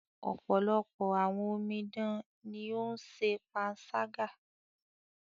Ọ̀pọ̀lọpọ̀ àwọn omidan ní o ń ṣe panṣágà.